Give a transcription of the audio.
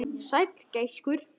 Sæll gæskur.